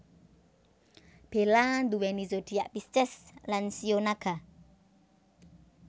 Bella nduweni zodiak Pisces lan shio Naga